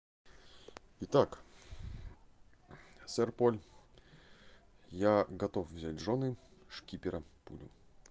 итак сэр поль я готов взять в жёны шкипера пулю